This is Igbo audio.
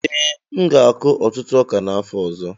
Ee, m ga-akụ ọtụtụ ọka n'afọ ọzọ.